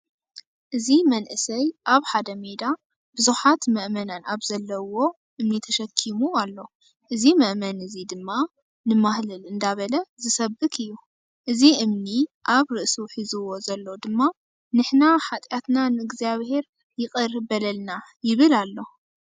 እዚ መንእሰይ ኣብ ሓደ ሜዳ ቡዙሓት መእመናን ኣብ ዘለዉዎ እምኒ ተሸከሙ ኣሎ። እዚ መእመን እዚ ድማ ንማህለል እንዳበለ ዝሰብክ እዩ። እዚ እምኒ አብር ርእሱ ሕዝዎ ዘሎ ድማ ንሕና ሓጥያትና ንእዝጋቢሄይ ይቅር በለልና ይብል ኣሎ።